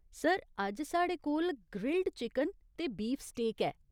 Sir, अज्ज साढ़े कोल ग्रिल्ड चिकन ते बीफ स्टेक ऐ।